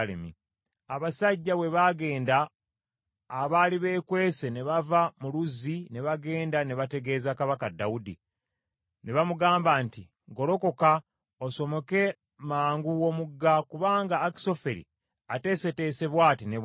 Abasajja bwe baagenda, abaali beekwese ne bava mu luzzi ne bagenda ne bategeeza kabaka Dawudi. Ne bamugamba nti, “Golokoka osomoke mangu omugga, kubanga Akisoferi ateeseteese bw’ati ne bw’ati.”